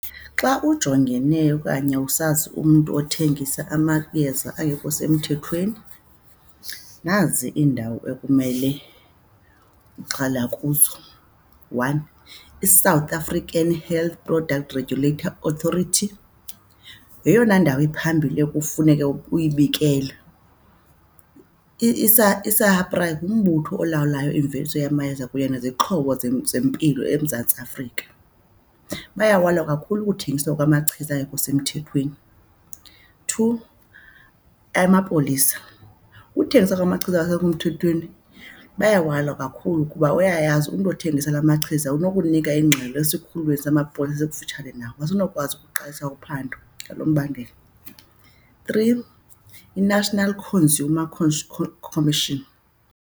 Xa ujongene okanye usazi umntu othengisa amayeza angekho semthethweni nazi iindawo ekumele uxela kuzo. One, iSouth African Health Product Regulator Authority yeyona ndawo iphambili ekufuneke uyibikele, iSAHPRA ngumbutho olawulayo imveliso yamayeza kunye nezixhobo zempilo eMzantsi Afrika. Bayawalwa kakhulu ukuthengiswa kwamachiza angekho semthethweni. Two, amapolisa. Ukuthengiswa kwamachiza angekho mthethweni bayawalwa kakhulu kuba uyayazi umntu othengisa la machiza unokunika ingxelo esikhululweni samapolisa esikufutshane naye. Asinokwazi ukuqalisa uphando ngalo mbandela. Three, iNational Consumer Commission.